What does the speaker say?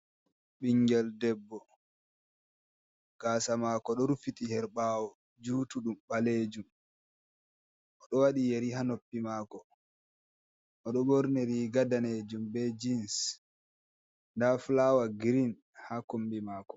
Bingel debbo gasa mako do rufiti herbawo jutudum balejum o do wadi yari ha noppi mako, o do ɓorni riga danejum be jeans da flawa green ha kombi mako.